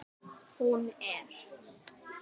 Hún er